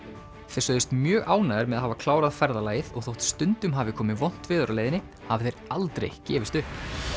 þeir sögðust mjög ánægðir með að hafa klárað ferðalagið og þótt stundum hafi komið vont veður á leiðinni hafi þeir aldrei gefist upp